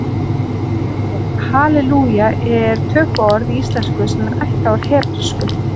Halelúja er tökuorð í íslensku sem er ættað úr hebresku.